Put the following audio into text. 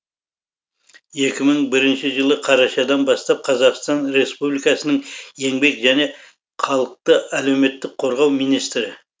екі мың бірінші жылы қарашадан бастап қазақстан республикасының еңбек және халықты әлеуметтік қорғау министрі